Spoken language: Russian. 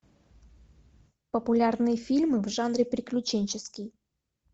популярные фильмы в жанре приключенческий